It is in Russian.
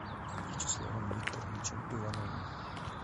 вячеславом викторовичем ивановым